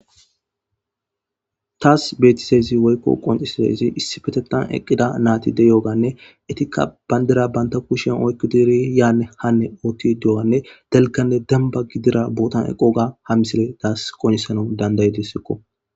Tas betizaysine qoncizaysi essipetetan nati eqidoganne bandira banta kushen oyqidi yane hane dewganne dalgane demba gidido botan dewga ha misiley tas qoncisesikko.